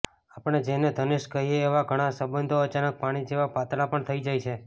આપણે જેને ઘનિષ્ઠ કહીએ એવા ઘણા સંબંધો અચાનક પાણી જેવા પાતળા પણ થઈ જાય છે